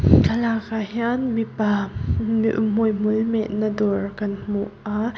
thlalakah hian mipa h-m-m hmuihmul mehna dawr kan hmu a--